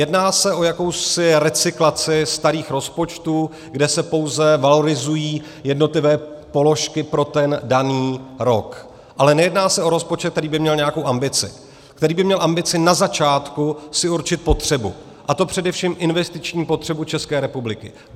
Jedná se o jakousi recyklaci starých rozpočtů, kde se pouze valorizují jednotlivé položky pro ten daný rok, ale nejedná se o rozpočet, který by měl nějakou ambici, který by měl ambici na začátku si určit potřebu, a to především investiční potřebu České republiky.